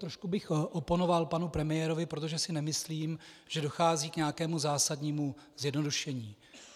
Trošku bych oponoval panu premiérovi, protože si nemyslím, že dochází k nějakému zásadnímu zjednodušení.